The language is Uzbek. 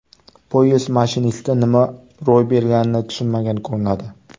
Poyezd mashinisti nima ro‘y berganini tushunmagan ko‘rinadi.